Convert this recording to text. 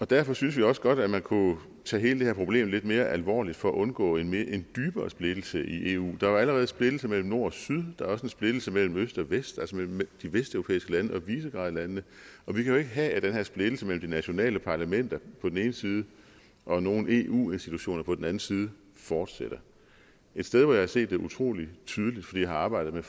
derfor synes vi også godt at man kunne tage hele det her problem lidt mere alvorligt for at undgå en en dybere splittelse i eu der er jo allerede splittelse mellem nord og syd der er også en splittelse mellem øst og vest altså mellem de vesteuropæiske lande og visegrádlandene og vi kan jo ikke have at den her splittelse mellem de nationale parlamenter på den ene side og nogle eu institutioner på den anden side fortsætter et sted hvor jeg har set det utrolig tydeligt fordi jeg har arbejdet med